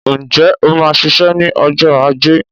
Ǹjẹ́ o máa ń ṣiṣẹ́ ní ọjọ́ ajé